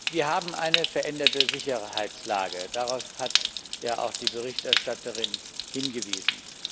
Wir haben eine veränderte Sicherheitslage, darauf hat ja auch die Berichterstatterin hingewiesen.